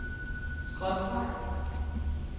skråstreg